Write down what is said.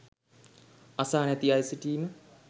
අසා නැති අය සිටීම